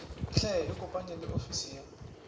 hle ikopanye le ofisi ya